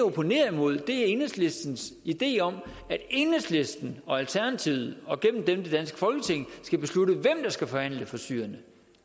opponerer mod er enhedslistens idé om at enhedslisten og alternativet og gennem dem det danske folketing skal beslutte hvem der skal forhandle for syrerne